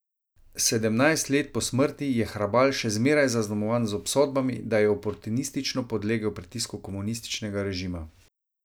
Sedemnajst let po smrti je Hrabal še zmeraj zaznamovan z obsodbami, da je oportunistično podlegel pritisku komunističnega režima.